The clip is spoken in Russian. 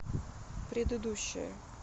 предыдущая